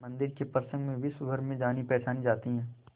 मंदिर के प्रसंग में विश्वभर में जानीपहचानी जाती है